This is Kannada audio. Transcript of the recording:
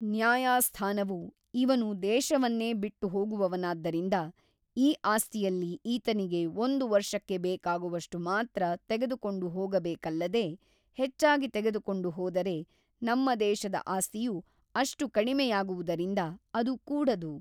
ನ್ಯಾಯಾಸ್ಥಾನವು ಇವನು ದೇಶವನ್ನೇ ಬಿಟ್ಟು ಹೋಗುವವನಾದ್ದರಿಂದ ಈ ಆಸ್ತಿಯಲ್ಲಿ ಈತನಿಗೆ ಒಂದು ವರ್ಷಕ್ಕೆ ಬೇಕಾಗುವಷ್ಟು ಮಾತ್ರ ತೆಗೆದುಕೊಂಡು ಹೋಗಬೇಕಲ್ಲದೆ ಹೆಚ್ಚಾಗಿ ತೆಗೆದುಕೊಂಡು ಹೋದರೆ ನಮ್ಮ ದೇಶದ ಆಸ್ತಿಯು ಅಷ್ಟು ಕಡಿಮೆಯಾಗುವುದರಿಂದ ಅದು ಕೂಡದು.